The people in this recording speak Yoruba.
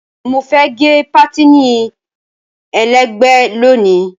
Mo fẹ́ gẹ pátìnì ẹlẹ́gbẹ̀ẹ́ lónìí.